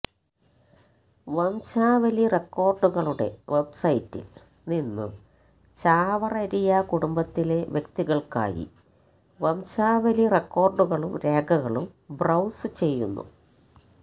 വംശാവലി റെക്കോർഡുകളുടെ വെബ്സൈറ്റിൽ നിന്നും ചാവറരിയ കുടുംബത്തിലെ വ്യക്തികൾക്കായി വംശാവലി റെക്കോർഡുകളും രേഖകളും ബ്രൌസുചെയ്യുന്നു